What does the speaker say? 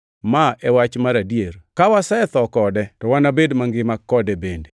Ma e wach mar adier: Ka wasetho kode, to wanabed mangima kode bende;